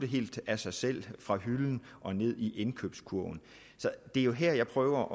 helt af sig selv fra hylden og ned i indkøbskurven det er her jeg prøver